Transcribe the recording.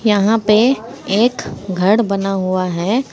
यहां पे एक घड़ बना हुआ है।